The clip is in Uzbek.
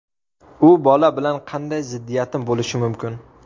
U bola bilan qanday ziddiyatim bo‘lishi mumkin.